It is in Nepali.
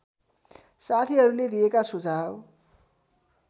साथीहरूले दिएका सुझाव